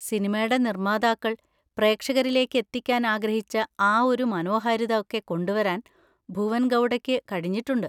സിനിമടെ നിർമാതാക്കൾ പ്രേക്ഷകരിലേക്ക് എത്തിക്കാൻ ആഗ്രഹിച്ച ആ ഒരു മനോഹാരിത ഒക്കെ കൊണ്ടുവരാൻ ഭുവൻ ഗൗഡയ്ക്ക് കഴിഞ്ഞിട്ടുണ്ട്.